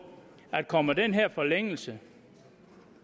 at kommer den her forlængelse